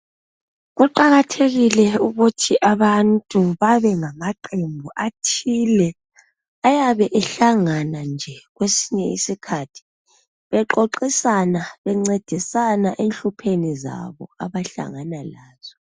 Kuqakathekile ukuthi abantu babengamaqembu athile ayabe ehlangana nje kwesinye iskhathi bexoxisana bencedisana enhlupheni zabo abahlangana lazo.